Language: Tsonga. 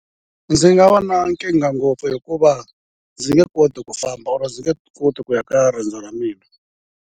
Ndzi nga va na nkingha ngopfu hikuva ndzi nge koti ku famba or ndzi nge koti ku ya ka riendzo ra mina.